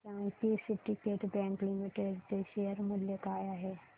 हे सांगा की सिंडीकेट बँक लिमिटेड चे शेअर मूल्य काय आहे